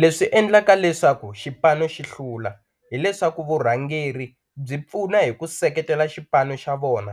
Leswi endlaka leswaku xipano xi hlula hileswaku vurhangeri byi pfuna hi ku seketela xipano xa vona